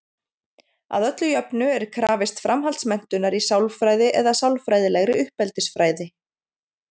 Að öllu jöfnu er krafist framhaldsmenntunar í sálfræði eða sálfræðilegri uppeldisfræði.